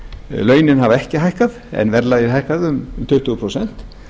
launin hafa ekki hækkað en verðlagið hækkaði um tuttugu prósent